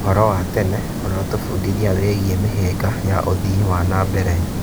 ũhoro wa tene ũratũbundithia wĩgiĩ mĩhĩnga ya ũthii wa na mbere.